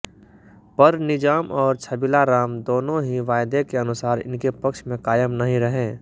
पर निजाम और छबीलाराम दोनों ही वायदे के अनुसार इनके पक्ष में कायम नहीं रहे